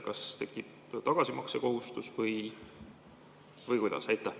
Kas tekib tagasimaksekohustus või kuidas?